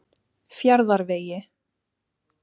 Fjarðarvegi